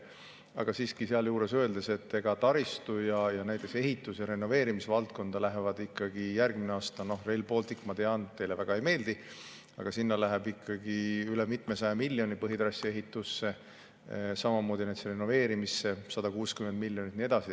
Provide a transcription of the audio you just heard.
Aga siiski, sealjuures tuleb öelda, et järgmisel aastal läheb taristu ehituse ja renoveerimise valdkonda, näiteks Rail Balticusse – ma tean, et teile see väga ei meeldi – üle mitmesaja miljoni põhitrassi ehitusse, samuti renoveerimisse 160 miljonit ja nii edasi.